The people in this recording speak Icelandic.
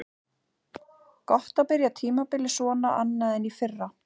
Gott að byrja tímabilið svona annað en í fyrra.